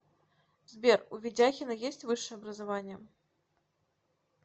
сбер у ведяхина есть высшее образование